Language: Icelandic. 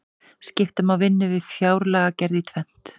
skipta má vinnu við fjárlagagerð í tvennt